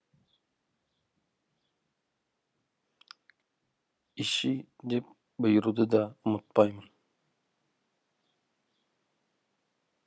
ищи деп бұйыруды да ұмытпаймын